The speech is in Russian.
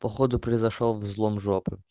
походу произошёл взлом жопы